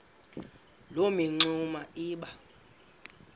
loo mingxuma iba